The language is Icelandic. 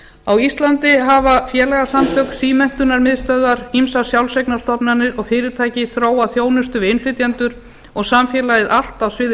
á íslandi hafa félagasamtök símenntunarmiðstöðvar ýmsar sjálfseignarstofnanir og fyrirtæki þróað þjónustu við innflytjendur og samfélagið allt á sviði